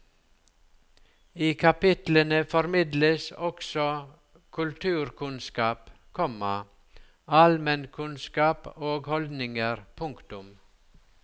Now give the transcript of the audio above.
I kapitlene formidles også kulturkunnskap, komma allmennkunnskap og holdninger. punktum